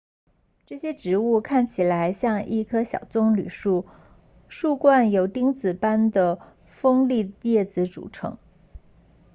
这些植物看起来像一棵小棕榈树树冠由钉子般的锋利叶子组成